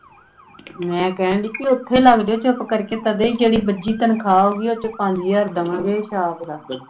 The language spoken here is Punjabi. ਮੈਂ ਕਹਿਣ ਦਈ ਬਈ ਉੱਥੇ ਲੱਗ ਜਾਓ ਚੁੱਪ ਕਰਕੇ ਤਦੇ ਜਿਹੜੀ ਬੱਝੀ ਤਨਖਾਹ ਆਊਗੀ ਉਸ ਵਿਚੋਂ ਪੰਜ ਹਜਾਰ ਦਵਾਂਗੇ ਸ਼ਾਪ ਦਾ।